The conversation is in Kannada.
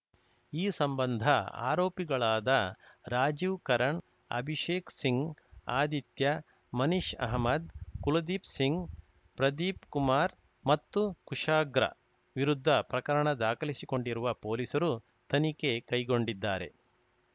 ಈ ಸಂಬಂಧ ಆರೋಪಿಗಳಾದ ರಾಜೀವ್‌ ಕರಣ್‌ ಅಭಿಶೇಕ್‌ ಸಿಂಗ್‌ ಆದಿತ್ಯಾ ಮನಿಷ್‌ ಅಹಮ್ಮದ್‌ ಕುಲದೀಪ್‌ ಸಿಂಗ್‌ ಪ್ರದೀಪ್‌ಕುಮಾರ್‌ ಮತ್ತು ಕುಶಾಗ್ರ ವಿರುದ್ಧ ಪ್ರಕರಣ ದಾಲಿಸಿಕೊಂಡಿರುವ ಪೊಲೀಸರು ತನಿಖೆ ಕೈಗೊಂಡಿದ್ದಾರೆ